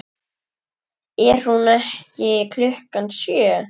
Er hún eitt klukkan sjö?